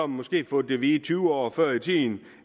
måske fået at vide tyve år før